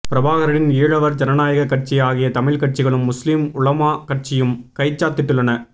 பிரபாகரனின் ஈழவர் ஜனநாயக கட்சி ஆகிய தமிழ் கட்சிகளும் முஸ்லிம் உலமா கட்சியும் கைச்சாத்திட்டுள்ளன